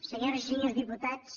senyores i senyors diputats